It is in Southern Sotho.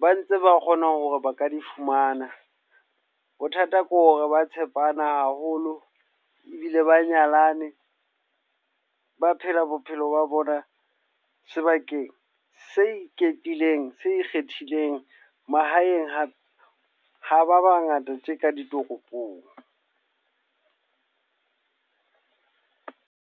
ba ntse ba kgona hore ba ka di fumana. Bothata kore ba tshepana haholo ebile ba nyalane. Ba phela bophelo ba bona sebakeng se ikgethileng, se ikgethileng. Mahaeng hape ha ba bangata tje ka ditoropong.